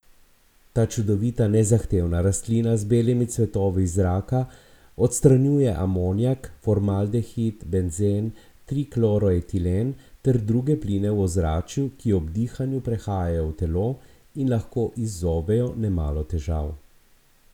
Ta čudovita nezahtevna rastlina z belimi cvetovi iz zraka odstranjuje amonijak, formaldehid, benzen, trikloroetilen ter druge pline v ozračju, ki ob dihanju prehajajo v telo in lahko izzovejo nemalo težav.